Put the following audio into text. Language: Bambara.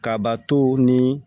Kabato ni